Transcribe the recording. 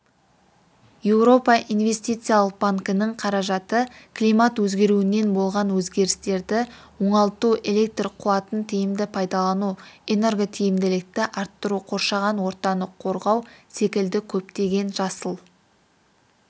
еуропа инвестициялық банкінің қаражаты климат өзгеруінен болған өзгерістерді оңалту электр қуатын тиімді пайдалану энерготиімділікті арттыру қоршаған ортаны қорғау секілді көптеген жасыл